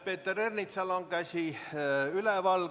Peeter Ernitsal on käsi üleval.